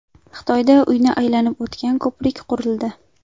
Xitoyda uyni aylanib o‘tgan ko‘prik qurildi.